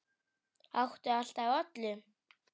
Átti allt af öllu.